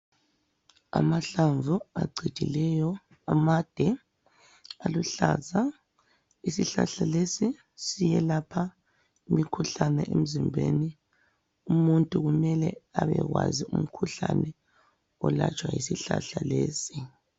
Amahlamvu acijileyo, amade, aluhlaza, isihlahla lesi siyelapha imikhuhlane emzimbeni, umuntu kumele abekwazi umkhuhlane olatshwa yisihlahla lesi.